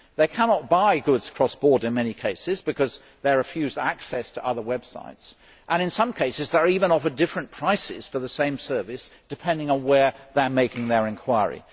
They cannot buy goods cross border in many cases because they are refused access to other websites, and in some cases they are even offered different prices for the same service, depending on where they are making their enquiry.